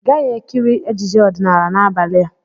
Ị gaghị-ekiri ejije ọdịnala n'abalị a!